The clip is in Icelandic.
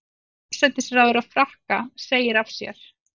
Forsætisráðherra Frakka segir af sér